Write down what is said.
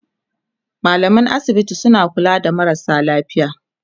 mallaman asibiti suna kula da marasa lafiya